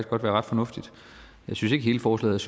godt være ret fornuftigt jeg synes ikke hele forslaget